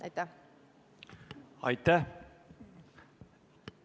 Aitäh!